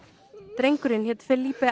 drengurinn hét